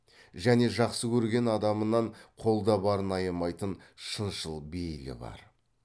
және жақсы көрген адамынан қолда барын аямайтын шыншыл бейілі бар